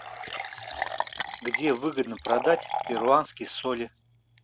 где выгодно продать перуанские соли